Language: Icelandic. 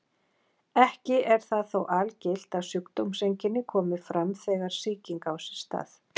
Ekki er það þó algilt að sjúkdómseinkenni komi fram þegar sýking á sér stað.